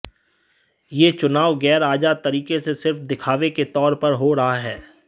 यह चुनाव ग़ैर आज़ाद तरीक़े से सिर्फ़ दिखावे के तौर पर हो रहा है